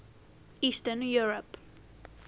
eastern europe